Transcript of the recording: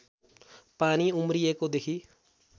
पानी उम्रिएको देखि